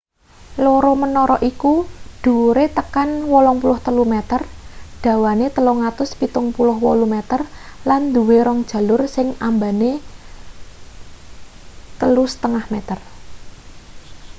loro menara iku dhuwure tekan 83 meter dawane 378 meter lan duwe rong jalur sing ambane 3,50 m